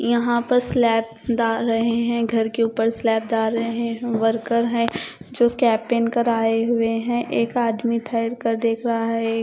यहां पर स्लाब डाल रहे हैं घर के ऊपर स्लाब डाल रहे हैं। वर्कर है जो कैप पहन कर आए हुए हैं। एक आदमी ठहरकर देख रहा है।